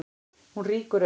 Hún rýkur upp.